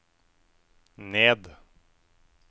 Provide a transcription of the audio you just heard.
ned